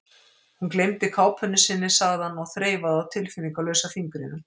Hún gleymdi kápunni sinni, sagði hann og þreifaði á tilfinningalausa fingrinum.